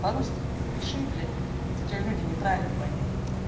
по-русски хоть пиши блять а то тебя люди неправильно поймут